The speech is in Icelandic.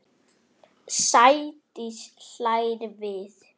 Sædís hlær við.